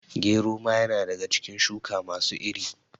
Gero ma ya na daga cikin shuka masu iri